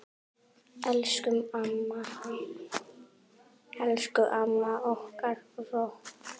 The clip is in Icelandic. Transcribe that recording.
Elsku amma okkar rokk.